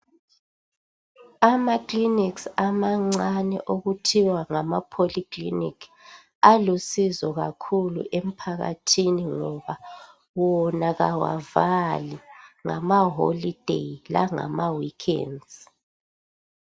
Ama clinic amancane okuthiwa ngama poly clinic alusizo kakhulu emphakathini ngoba wona awavali ngamaholideyi langama weekend.